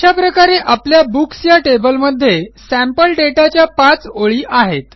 अशा प्रकारे आपल्या बुक्स या टेबलमध्ये सॅम्पल दाता च्या 5ओळी आहेत